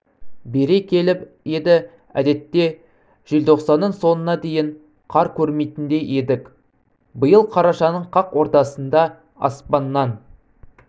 бере келіп еді әдетте желтоқсанның соңына дейін қар көрмейтіндей едік биыл қарашаның қақ ортасында аспаннан